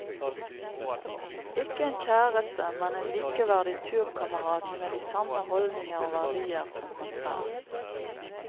Ikke en kjæreste, men en likeverdig turkamerat med de samme holdninger og verdier som han selv.